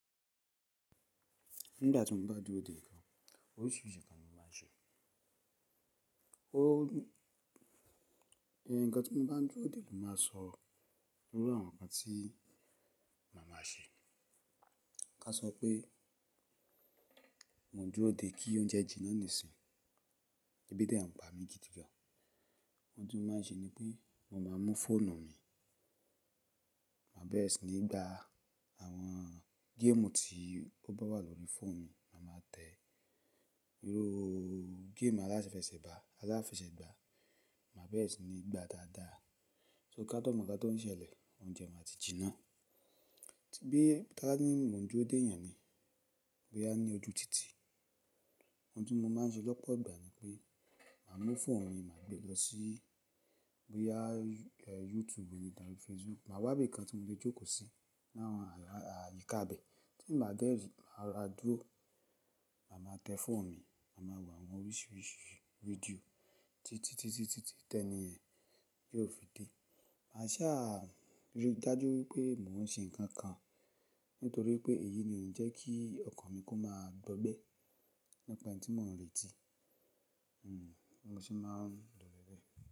Nígbà tí mo bá dúró dè nǹkan, oríṣìíríṣìí ǹnkan ni mo máa ń ṣe. Oh, ǹkan tí mo bá ń dúró dè ló máa sọ, lórí àwọn ǹkan tí màá máa ṣe. Ka sọ pé mo ń dúró dè kí oúnjẹ jiná nísin, ẹbí dẹ̀ à ń pa mi gidi gan, ohun tí mo máa ń ṣe ni pé mo máa mú fóònù mi, màá bẹ́ẹ̀re sì ni gba àwọn géèmù tí ó bá wà lórí fóònù mi, màá máa tẹ irú géèmù aláfẹsẹ̀gbá, aláfẹsẹ̀gbá, màá bẹ́ẹ̀re sì ni gba dáadáa. So ká tó mọ̀ nkán tó ń ṣẹlẹ̀ oúnjẹ máa ti jiná. Bí ka wa ni mo ń dúró dè èèyàn ni, bí a ní ojú tìtì, ohun tí mo máa ń ṣe lọ́pọ̀ ìgbà ni pé màá mú fóònù mi, màá gbé lọ sí bí i a YouTube rí, tàbí Facebook, màá wá ibi kan tí mo lè jókòó sí ní àwọn ààyíká ibẹ̀ tí mo bá dé rí, màá rora dúrò. Màá máa tẹ fóònù mi, màá máa wo àwọn oríṣìíríṣìí fídíò títí, títí, títí tẹni ẹ yiò fi dé. Màá sà rí i dájú wípé mò ń ṣe ǹkan kan nítorí pé èyí ni ó ń jẹ́ kí ọkàn mi kó máa gbọ́gbẹ́ nípa ẹni tí mò ń retí. Hmm, bi mo se máa ń lọ.